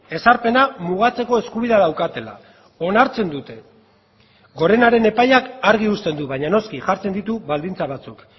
ezarpena mugatzeko eskubidea daukatela onartzen dute gorenaren epaiak argi usten du baina noski jartzen ditu baldintza batzuk